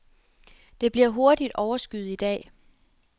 Det bliver hurtigt overskyet i dag.